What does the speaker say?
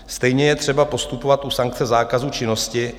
Stejně je třeba postupovat u sankce zákazu činnosti.